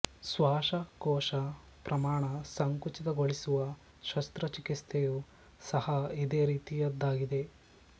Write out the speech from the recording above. ಶ್ವಾಸಕೋಶ ಪ್ರಮಾಣ ಸಂಕುಚಿತಗೊಳಿಸುವ ಶಸ್ತ್ರ ಚಿಕಿತ್ಸೆಯೂ ಸಹ ಇದೇ ರೀತಿಯದಾಗಿದೆ